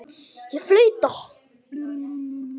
Ég flauta.